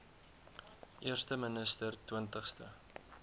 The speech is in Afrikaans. eerste minister twintigste